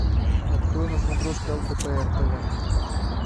открой на смотрешке лдпр тв